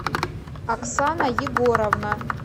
оксана егоровна